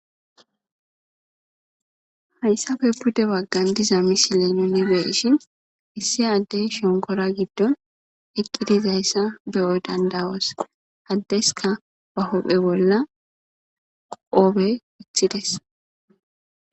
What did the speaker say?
hayssafe budde waggan diza misile nuni beishin issi addey shonkora giddon eqqidizayssa beyo dandawoos haddeska ba hophe bolla qoobe pithides